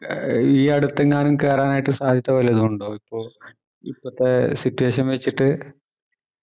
ഏർ ഈ അടുത്തെങ്ങാനും കേറാനായിട്ട് സാധ്യത ഇണ്ടോ ഇപ്പൊ ഇപ്പോത്തെ situation വച്ചിട്ട്